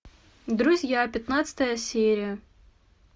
друзья пятнадцатая серия